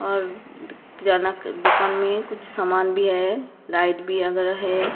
और जनक दुकान में कुछ सामान भी है लाइट भी आ गया है।